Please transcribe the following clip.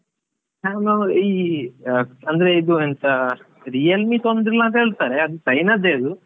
ಆ ಅಂದ್ರೆ ಇದು ಎಂತ Realme ತೊಂದ್ರೆ ಇಲ್ಲ ಅಂತ ಹೇಳ್ತಾರೆ, ಆದ್ರೆ ಅದು China ದೇ ಅದು.